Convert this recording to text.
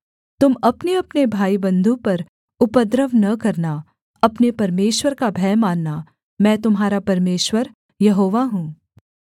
तुम अपनेअपने भाईबन्धु पर उपद्रव न करना अपने परमेश्वर का भय मानना मैं तुम्हारा परमेश्वर यहोवा हूँ